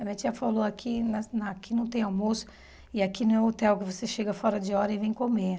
A minha tia falou, aqui na na aqui não tem almoço e aqui não é hotel que você chega fora de hora e vem comer.